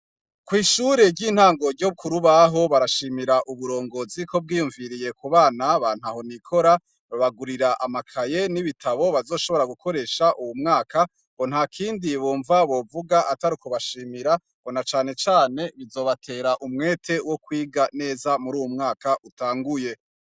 Ku ishure ry'intango ryo Ku Rubaho barashimira uburongozi ko bwiyumviriye ku bana bantaho nikora babagurira amakaye n'ibitabo bazoshobora gukoresha uwu mwaka ngo ntakindi bumva bovuga atari kubashimira ngo canecane bizobatera umwete wo kwiga neza muruwu mwaka utanguye.